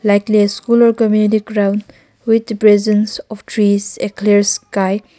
likely a school or community ground with presence of trees a clear sky.